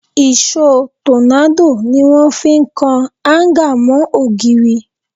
Ìṣó tọ́nádò ni wọ́n fi ń kan áńgà mọ́ ògiri